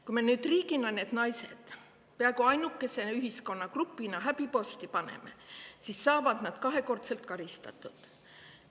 Kui me riigina need naised pea ainukese ühiskonnagrupina häbiposti paneme, siis saavad nad kahekordselt karistatud.